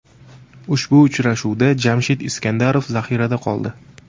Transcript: Ushbu uchrashuvda Jamshid Iskandarov zaxirada qoldi.